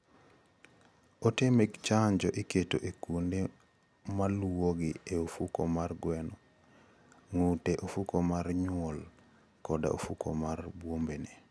Ote mag chanjo iketo e kuonde maluwogi e ofuko mar gweno, ng'ute, ofuko mar nyuol koda ofuko mar bwombene.